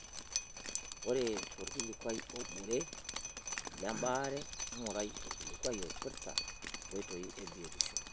Ore tolkikuai obore lebaare, ngurai olkilikuai oipirta nkoitoi e biotisho.